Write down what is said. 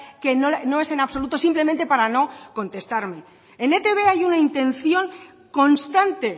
que no es en absoluto simplemente para no contestarme en etb hay una intención constante